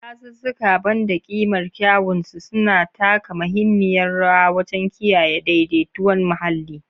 Dazuzzuka, ban da ƙimar kyawun su, suna taka muhimmiyar rawa wajen kiyaye daidaiton muhalli.